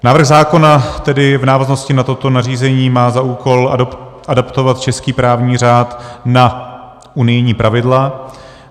Návrh zákona tedy v návaznosti na toto nařízení má za úkol adaptovat český právní řád na unijní pravidla.